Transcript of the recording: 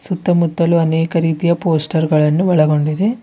ಸುತ್ತಮುತ್ತಲು ಅನೇಕ ರೀತಿಯ ಪೋಸ್ಟರ್ ಗಳನ್ನು ಒಳಗೊಂಡಿದೆ.